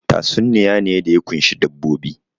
Tatsuniya ne da ya ƙunshi dabbobi